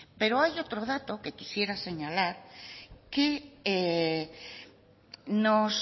pero hay otro dato que quisiera señalar que